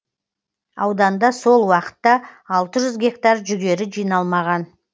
ауданда сол уақытта алты жүз гектар жүгері жиналмаған